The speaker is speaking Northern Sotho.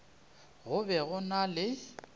go be go na le